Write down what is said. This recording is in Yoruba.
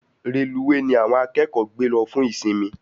Reluwe ní àwọn akẹ́kọ̀ọ́ gbé lọ fún ìsimi